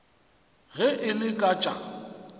ge e le ka tša